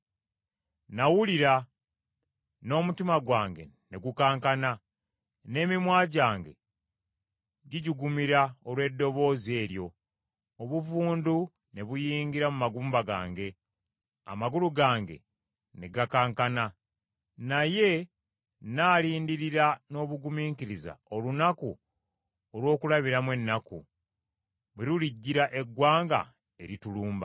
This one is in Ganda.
Nawulira, n’omutima gwange ne gukankana n’emimwa gyange gijugumira olw’eddoboozi eryo; Obuvundu ne buyingira mu magumba gange, amagulu gange ne gakankana. Naye nnaalindirira n’obugumiikiriza olunaku olw’okulabiramu ennaku bwe lulijjira eggwanga eritulumba.